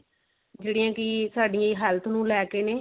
ਜਿਹੜੀਆਂ ਕੀ ਸਾਡੀ health ਨੂੰ ਲੈ ਕੇ ਨੇ